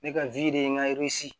Ne ka de ye n ka